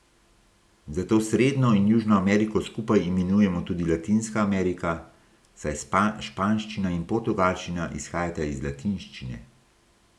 Zato Srednjo in Južno Ameriko skupaj imenujemo tudi Latinska Amerika, saj španščina in portugalščina izhajata iz latinščine.